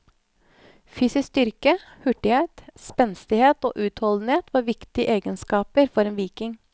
Fysisk styrke, hurtighet, spenstighet og utholdenhet var viktige egenskaper for en viking.